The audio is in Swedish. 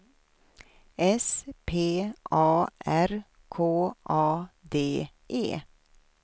S P A R K A D E